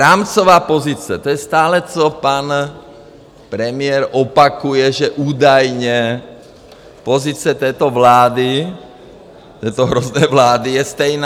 Rámcová pozice - to je stále, co pan premiér opakuje, že údajně pozice této vlády, této hrozné vlády, je stejná.